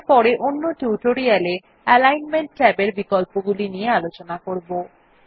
আমরা পরে অন্য টিউটোরিয়াল এ অ্যালিগ্নমেন্ট ট্যাবের বিকল্পগুলি নিয়ে আলোচনা করবো